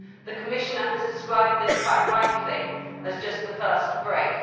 The Commissioner has described this, quite rightly, as just the first brick.